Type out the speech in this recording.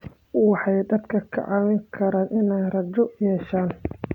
Waxay dadka ka caawin karaan inay rajo yeeshaan.